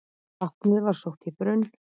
Vatnið var sótt í brunn.